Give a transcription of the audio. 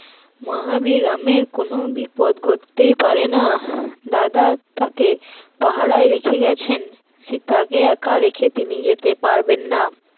মহাবীর রামের কোন বিপদ ঘটতেই পারে না, দাদা তাকে পাহারায় রেখে গেছেন, সীতা কে একা রেখে তিনি যেতে পারবেন না